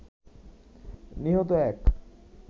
নিহত এক